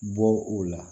Bɔ u la